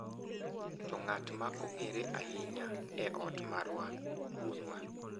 To ng’at ma ong’ere ahinya e ot marwa, wuonwa.